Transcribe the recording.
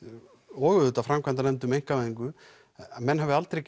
og auðvitað framkvæmdanefnd um einkavæðingu menn hafi aldrei